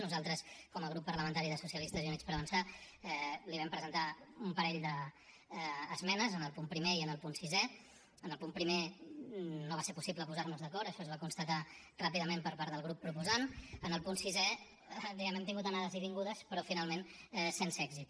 nosaltres com a grup parlamentari socialistes i units per avançar li vam presentar un parell d’esmenes en el punt primer i en el punt sisè en el punt primer no va ser possible posar nos d’acord això es va constatar ràpidament per part del grup proposant en el punt sisè diguem ne hem tingut anades i vingudes però finalment sense èxit